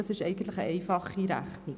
Dies ist eine einfache Rechnung.